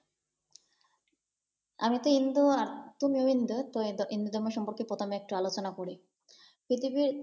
আমিতো হিন্দু না তুমি হিন্দু, তাহলে হিন্দু ধর্ম সম্পর্কে প্রথমে একটু আলোচনা করি। পৃথিবীর